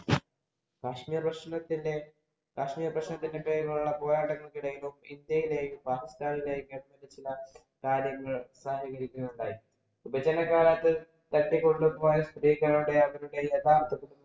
കാശ്മീര്‍ പ്രശ്നത്തിന്‍റെ കാശ്മീര്‍ പ്രശ്നത്തിന്‍റെ പേരിലുള്ള പോരാട്ടങ്ങൾക്കിടയിലും, ഇന്ത്യയിലെയും, പാകിസ്ഥാനിലെയും കാര്യങ്ങൾ ഉണ്ടായി. വിഭജനകാലത്തെ അവരുടെ യഥാര്‍ത്ഥ